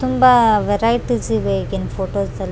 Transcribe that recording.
ತುಂಬಾ ವರೈಟೀಸ್ ಇವೆ ಈಗಿನ್ ಫೋಟೋಸ್ --